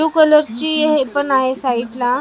blue कलरची हे पण आहे साईटला